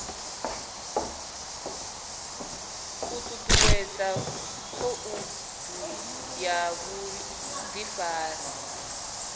u ṱuṱuwedza khoudu ya vhuḓifari